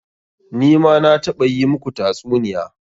Ni ma na taɓa yi muku tatsuniya.